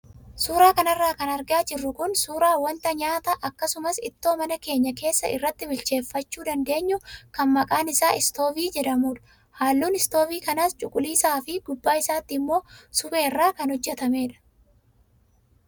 Suuraa kanarra kan argaa jirru kun suuraa wanta nyaata akkasumas ittoo mana keenya keessaa irratti bilcheeffachuu dandeenyu kan maqaan isaa istoovii jedhamudha. Halluun istoovii kanaas cuquliisaa fi gubbaa isaatti immoo supheerraa kan hojjatamedha.